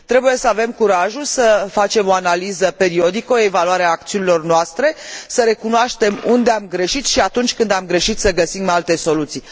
Trebuie să avem curajul să facem o analiză periodică, o evaluare a acțiunilor noastre, să recunoaștem unde am greșit și, atunci când am greșit, să găsim alte soluții.